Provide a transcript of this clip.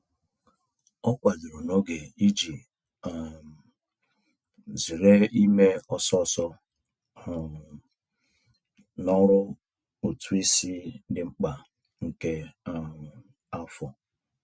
O kwadoro n'oge iji um zere ime ọsọọsọ um n'ọrụ ụtụisi dị mkpa nke um afọ.